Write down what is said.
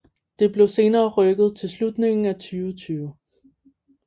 Det blev senere rykket til slutningen af 2020